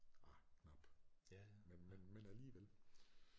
Ah knap men men men alligevel